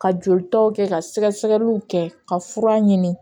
Ka jolitaw kɛ ka sɛgɛsɛgɛliw kɛ ka fura ɲini